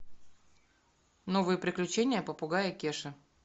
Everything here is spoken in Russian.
новые приключения попугая кеши